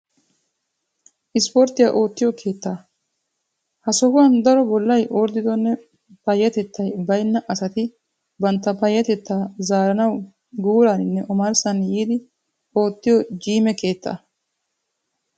isiporttiya oottiyo keettaa. ha sohuwan daro bollay orddidonne payyatettay bayinna asati bantta payyatetta zaaranawu guuraaninne omarssan yiidi oottiyo jiime keettaa.